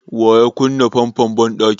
Wa ya kunna famfon banɗakin?